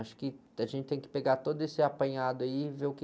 Acho que a gente tem que pegar todo esse apanhado e ver o que...